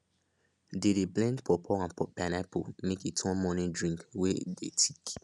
they dey blend pawpaw and pineapple make e turn morning drink wey dey thick